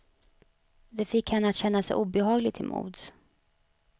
Det fick henne att känna sig obehaglig till mods.